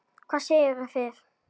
Hvað segið þið?